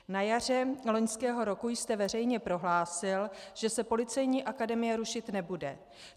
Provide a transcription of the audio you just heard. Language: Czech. Na jaře loňského roku jste veřejně prohlásil, že se Policejní akademie rušit nebude.